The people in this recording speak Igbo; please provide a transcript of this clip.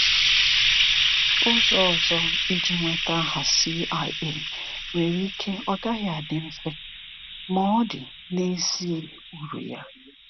Ọzọ ụzọ iji nweta aha CIA nwere ike ọ gaghị adị mfe, ma ọ dị n'ezie uru ya!